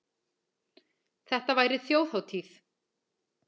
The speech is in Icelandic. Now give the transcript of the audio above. Þetta væri þjóðhátíð.